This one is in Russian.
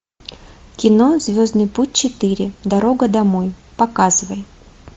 кино звездный путь четыре дорога домой показывай